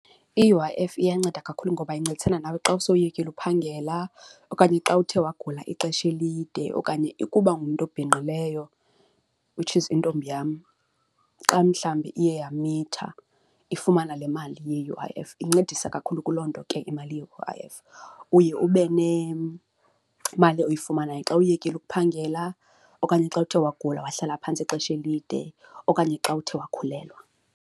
I-U_I_F iyanceda kakhulu ngoba incedisana nawe xa usewuyekile uphangela okanye xa uthe wagula ixesha elide okanye ukuba ungumntu obhinqileyo which is intombi yam xa mhlawumbi iye yamitha ifumana le mali ye-U_I_F incedisa kakhulu kuloo nto ke imali ye-U_ I_ F. Uye ube nemali oyifumanayo xa uyekile ukuphangela okanye xa uthe wagula wahlala phantsi ixesha elide okanye xa uthe wakhulelwa.